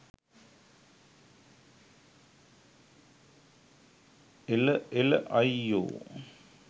එළ එළ අයියෝ